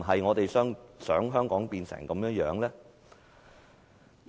我們是否想香港變成這樣呢？